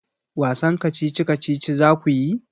Wasan kacici-kacici za ku yi?